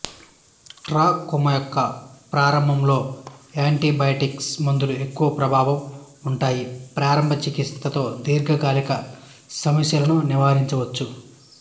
trachoma యొక్క ప్రారంభము లో యాంటీబయాటిక్స్ మందులు ఎక్కవ ప్రభావం ఉంటాయి ప్రారంభ చికిత్స తో దీర్ఘకాలిక సమస్యలను నివారించవచ్చు